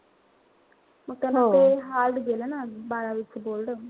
मग त्यामुळे ते hard गेलं ना बारावीच board.